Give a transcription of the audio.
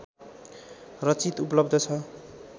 रचित उपलब्ध छ